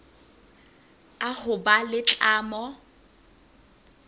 a ho ba le tlamo